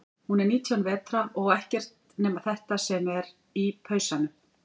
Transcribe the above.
Hún er nítján vetra og á ekkert nema þetta sem er í pausanum.